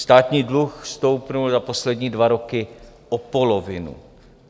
Státní dluh stoupl za poslední dva roky o polovinu.